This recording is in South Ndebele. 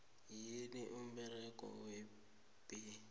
yini umberego webee